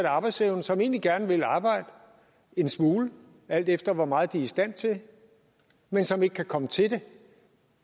arbejdsevne og som egentlig gerne vil arbejde en smule alt efter hvor meget de er i stand til men som ikke kan komme til det